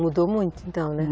Mudou muito então, né?